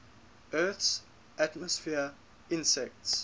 earth's atmosphere intersects